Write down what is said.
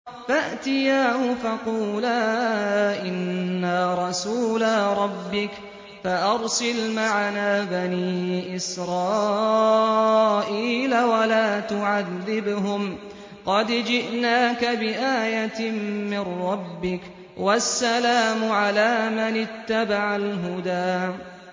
فَأْتِيَاهُ فَقُولَا إِنَّا رَسُولَا رَبِّكَ فَأَرْسِلْ مَعَنَا بَنِي إِسْرَائِيلَ وَلَا تُعَذِّبْهُمْ ۖ قَدْ جِئْنَاكَ بِآيَةٍ مِّن رَّبِّكَ ۖ وَالسَّلَامُ عَلَىٰ مَنِ اتَّبَعَ الْهُدَىٰ